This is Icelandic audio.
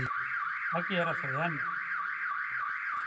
Það gera þau enn.